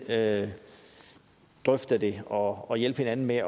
at drøfte det og hjælpe hinanden med